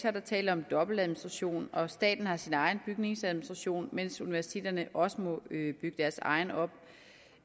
er der tale om en dobbeltadministration staten har sin egen bygningsadministration mens universiteterne også må bygge deres egen op